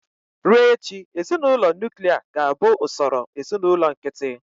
Ruo echi, ezinụlọ nuklia ga-abụ ụsọrọ ezinụlọ nkịtị.